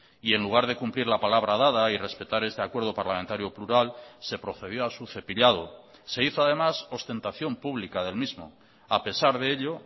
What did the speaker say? y en lugar de cumplir la palabra dada y respetar este acuerdo parlamentario plural se procedió a su cepillado se hizo además ostentación pública del mismo a pesar de ello